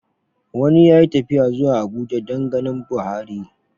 Wani ya yi tafiya zuwa Abuja dan ganin Buhari